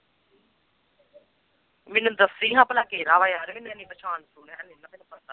ਮੈਨੂੰ ਦੱਸੀ ਭਲਾ ਕਿਹੜਾ ਯਾਰ